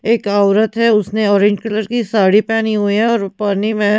एक औरत है उसने ऑरेंज कलर की साड़ी पेहनी हुई है और वो पानी में--